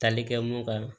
Tali kɛ mun kan